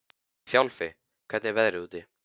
Þjálfi, hvernig er veðrið úti?